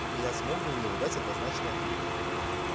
я смог на него дать однозначный ответ